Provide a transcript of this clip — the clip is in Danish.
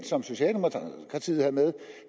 som socialdemokratiet havde med